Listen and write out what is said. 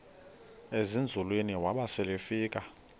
ezinzulwini waba selefika